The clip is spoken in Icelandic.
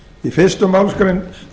í fyrstu málsgrein